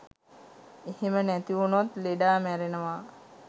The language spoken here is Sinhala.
එහෙම නැතිඋනොත් ලෙඩා මැරෙනවා .